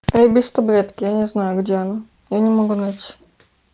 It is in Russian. я без таблетки я не знаю где она я не могу найти